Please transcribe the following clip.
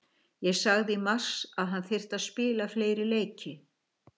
Ég sagði í mars að hann þyrfti að spila fleiri leiki.